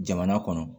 Jamana kɔnɔ